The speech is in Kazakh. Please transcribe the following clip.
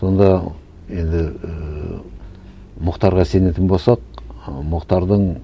сонда енді ііі мұхтарға сенетін болсақ ы мұхтардың